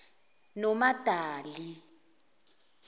nomadali